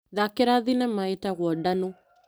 Thakĩra thinema ĩtagwo Ndanũ.